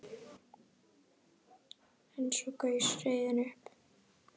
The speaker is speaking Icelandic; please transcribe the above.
En svo gaus reiðin upp.